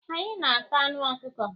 anyị na-ata anụ ọkụkọ.